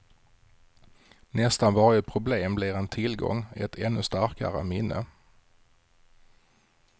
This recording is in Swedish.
Nästan varje problem blir en tillgång, ett ännu starkare minne.